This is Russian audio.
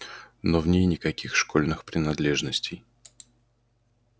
но в ней никаких школьных принадлежностей